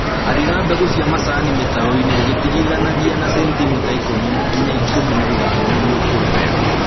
Arĩra mbegũ cia macani mĩtaroinĩ ũgĩtigithũkanagia na sentimita ikũmi nginya ikũmi na ithano nĩguo ikũre wega